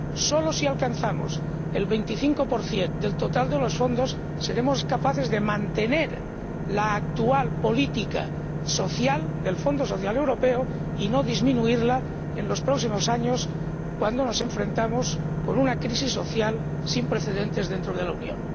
Solo si alcanzamos el 25 del total de los fondos, seremos capaces de mantener la actual política social del Fondo Social Europeo y de no disminuirla en los próximos años, cuando nos enfrentamos con una crisis social sin precedentes dentro de la Unión.